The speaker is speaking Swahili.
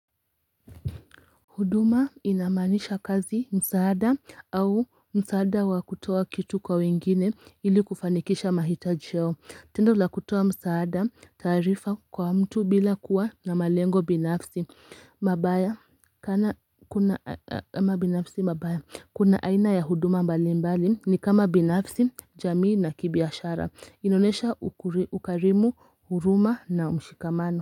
Huduma ina maanisha kazi, msaada au msaada wa kutoa kitu kwa wengine ili kufanikisha mahitaji yao. Tendo la kutoa msaada taarifa kwa mtu bila kuwa na malengo binafsi. Mabaya kuna kama binafsi mabaya. Kuna aina ya huduma mbali mbali ni kama binafsi jamii na kibiashara. Ina onesha ukarimu huruma na ushikamano.